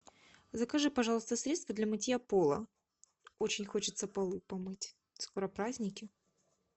закажи пожалуйста средство для мытья пола очень хочется полы помыть скоро праздники